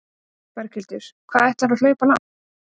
Berghildur: Hvað ætlarðu að hlaupa langt?